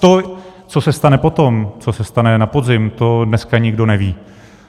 To, co se stane potom, co se stane na podzim, to dneska nikdo neví.